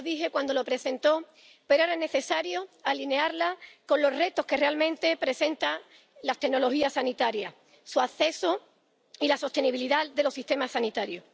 Ya lo dije cuando la presentó, pero era necesario alinearla con los retos que realmente presentan las tecnologías sanitarias, su acceso y la sostenibilidad de los sistemas sanitarios.